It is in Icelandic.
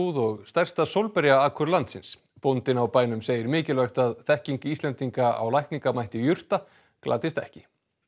og stærsta sólberja akur landsins bóndinn á bænum segir mikilvægt að þekking Íslendinga á lækningamætti jurta glatist ekki